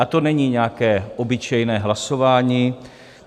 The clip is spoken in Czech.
A to není nějaké obyčejné hlasování.